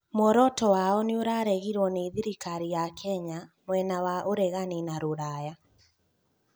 mũoroto wao nĩũraregirwo nĩ thirikari ya Kenya, mwena wa ũregani na rũraya